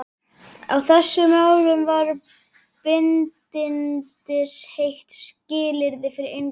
Á þessum árum var bindindisheit skilyrði fyrir inngöngu.